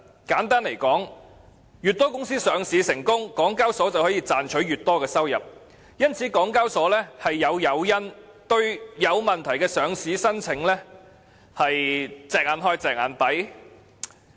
簡單來說，越多公司上市成功，港交所便可賺取越多收入，因此港交所有誘因對有問題的上市申請"隻眼開，隻眼閉"。